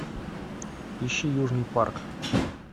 ищи южный парк